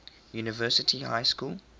university high school